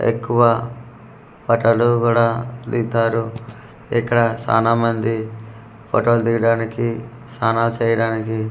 ఎక్కువ ఫటాలు కూడా దిగుతారు ఇక్కడ సాన మంది ఫోటోలు దీగడానికి సానాలు చేయడానికి.